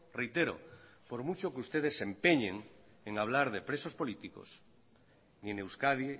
reitero por mucho que ustedes se empeñen en hablar de presos políticos ni en euskadi